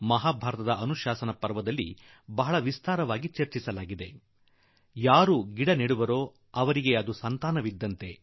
ಮಹಾಭಾರತದ ಅನುಶಾಸನ ಪರ್ವದಲ್ಲಂತೂ ಬಹಳ ವಿಸ್ತಾರವಾಗಿ ಚರ್ಚಿಸಲಾಗಿದೆ ಮತ್ತು ಅದರಲ್ಲಿ ಹೇಳಲಾಗಿದೆ ಯಾರು ಗಿಡ ನೆಡುವರೋ ಅವರಿಗೆ ಗಿಡ ಮರ ಅವರ ಮಕ್ಕಳಿದ್ದಂತೆ